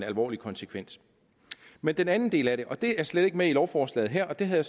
alvorlige konsekvenser men den anden del af det det er slet ikke med i lovforslaget her og det havde